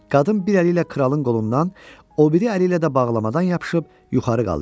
Qadın bir əli ilə kralın qolundan, o biri əli ilə də bağlamadan yapışıb yuxarı qaldırdı